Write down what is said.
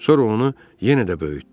Sonra onu yenə də böyütdü.